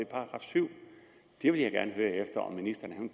§ syvende det vil jeg gerne høre om ministeren